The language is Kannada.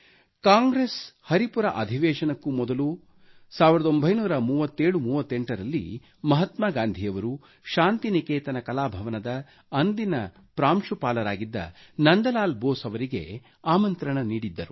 ಕಾಂಗ್ರೆಸ್ ಹರಿಪುರ ಅಧಿವೇಶನಕ್ಕೂ ಮೊದಲು 193738 ರಲ್ಲಿ ಮಹಾತ್ಮಾ ಗಾಂಧಿಯವರು ಶಾಂತಿನಿಕೇತನ ಕಲಾಭವನದ ಅಂದಿನ ಪ್ರಾಂಶುಪಾಲರಾಗಿದ್ದ ನಂದಲಾಲ್ ಬೋಸ್ ಅವರಿಗೆ ಆಮಂತ್ರಣ ನೀಡಿದ್ದರು